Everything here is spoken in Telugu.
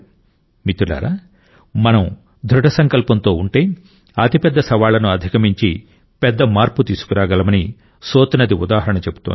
మిత్రులారా మనం దృఢ సంకల్పంతో ఉంటే అతిపెద్ద సవాళ్లను అధిగమించి పెద్ద మార్పు తీసుకురాగలమని సోత్ నది ఉదాహరణ చెబుతోంది